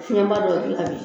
Fiɲɛɲba dɔ dilan bi